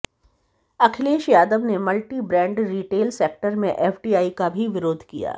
अखिलेश यादव ने multi brand retail sector में FDI का भी विरोध किया